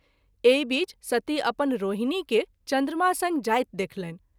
एहि बीच सती अपन रोहिणी के चन्द्रमा संग जाइत देखलनि।